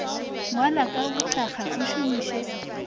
ngwala ka bothakga o šomiše